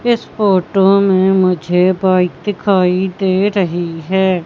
इस फोटो में मुझे बाइक दिखाई दे रही है।